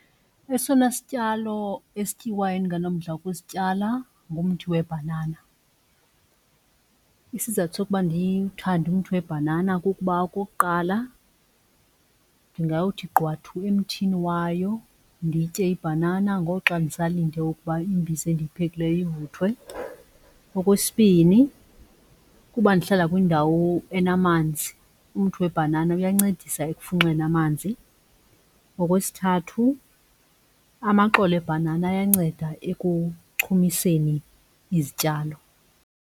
Esona sityalo esityiwayo endinganomdla wokusityala ngumthi webhanana. Isizathu sokuba ndiwuthande umthi webhanana kukuba okokuqala ndingawuthi qwathu emthini wayo nditye ibhanana ngoxa ndisalinde ukuba imbiza endiyiphekileyo ivuthwe. Okwesibini kuba ndihlala kwindawo enamanzi, umthi webhanana uyancedisa ekufunxeni amanzi. Okwesithathu amaxolo ebhanana ayanceda ekuchumiseni izityalo.